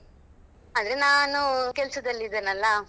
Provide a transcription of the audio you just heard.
ಅದೇ ನಾನು ಕೆಲ್ಸದಲ್ಲಿ ಇದೇನಲ್ಲಾ?